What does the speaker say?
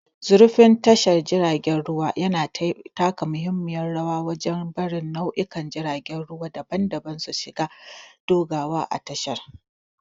Zurfin tashar jiragen ruwa yana taka muhimmiyar rawa wajen barin nau'ikan jiragen ruwa daban-daban su shiga da dogawa a tasha